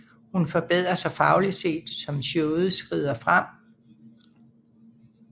Hun forbedrer sig fagligt set som showet skrider frem